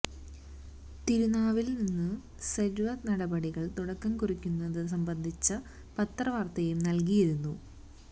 തിരുനാവായില് നിന്ന് സര്വെ നടപടികള് തുടക്കം കുറിക്കുന്നതു സംബന്ധിച്ച പത്രവാര്ത്തയും നല്കിയിരുന്നു